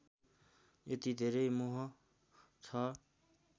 यति धेरै मोह छ